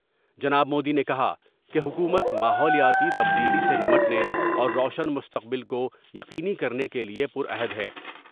جناب مودی نے کہا کہ حکومت ماحولیاتی تبدیلی سے نمٹنے اور روشن مستقبل کو یقینی کرنے کے لئے پر عہد ہے ۔